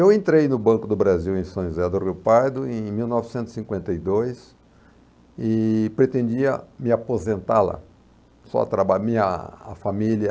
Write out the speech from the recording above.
Eu entrei no Banco do Brasil em São José do Rio Pardo em mil novecentos e cinquenta e dois e pretendia me aposentar lá. Só trabalhando na, a família